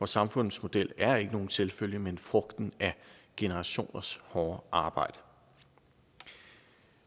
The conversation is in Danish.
samfundsmodel er ikke nogen selvfølge men frugten af generationers hårde arbejde